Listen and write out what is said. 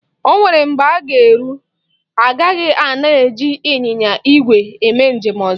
O nwere mgbe ọ ga-eru, agaghị ana eji ịnyịnya igwe eme njem ọzọ.